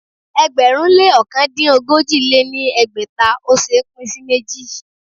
ẹgbẹ̀rún lé ọ̀kan dín ogójì lé ní ẹgbẹ́ta ò ṣé é pín sí méjì.